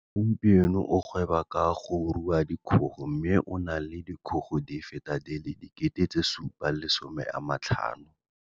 Gompieno o gweba ka go rua dikgogo mme o na le dikgogo di feta di le 7 500.